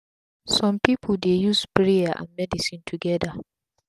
sum pipu dey use prayer and medicine togeda